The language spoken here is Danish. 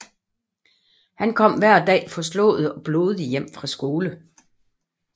Han kom hver dag forslået og blodig hjem fra skole